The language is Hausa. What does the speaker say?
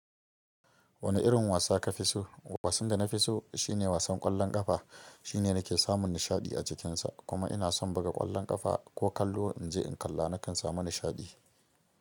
Wani irin wasa ka fi so? Wasan da na fi so shine wasan ƙwallon ƙafa. Shine na ke samun nishaɗi a cikinsa. Kuma ina son buga ƙwallon ƙafa ko kallo. In je in kalla, nakan samu nishaɗi.